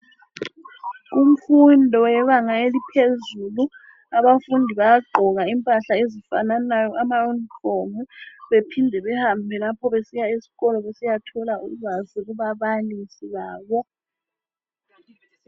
Kumfundo yebanga eliphezulu abafundi bayagqoka impahla ezifananayo amauniform baphinde behambe lapho besiya esikolo besiyathola ulwazi kubabalisi babo.